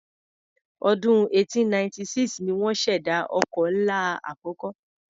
Ọdún 1896 ni wọ́n ṣèdá ọkọ̀ ńlá àkọ́kọ́.